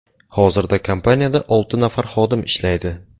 Hozirda kompaniyada olti nafar xodim ishlaydi.